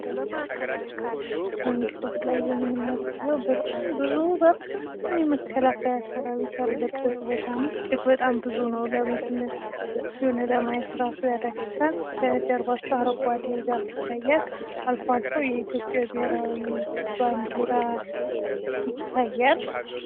በምስሉ ላይ የምንመለከተው በጣም ብዙ የመከላከያ ሰርዊት ያለበት ቦታ ነው። እጂግ በጣም ብዙ ነው። የሆነ ለማየት እራሱ ያዳግታል። ከጀርባቸው አረንጓዴ ዛፍ ይታያል። አልፎ አልፎ የኢትዮጵያ ብሄራዊ ባንዲራ ይታያል።